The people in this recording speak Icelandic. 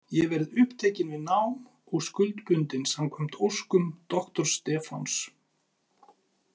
Ég verð upptekin við nám og skuldbundin samkvæmt óskum doktors Stefáns.